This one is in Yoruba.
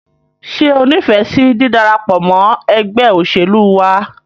Ṣé o nífẹsí dídarapọ̀ ẹgbẹ́ òṣèlú wa?